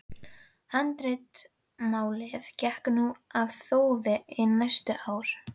Handritamálið gekk nú í þófi hin næstu ár.